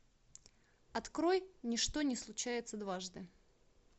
открой ничто не случается дважды